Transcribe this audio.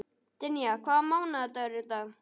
Dynja, hvaða mánaðardagur er í dag?